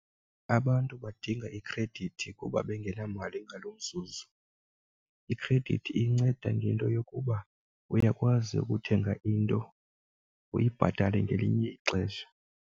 Abantu badinga ikhredithi kuba bengenamali ngalo mzuzu, ikhredithi inceda ngento yokuba uyakwazi ukuthenga into uyibhatale ngelinye ixesha.